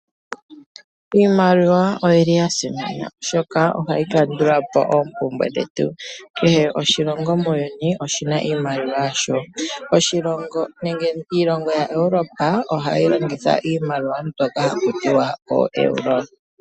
Iimaliwa oyili ya simana oshoka ohayi kandula po oompumbwe dhetu . Kehe oshilongo muuyuni oshina iimaliwa yasho . Oshilongo nenge iilongo yaEuropa ohayi longitha iimaliwa mbyono haku tiwa ooeuro.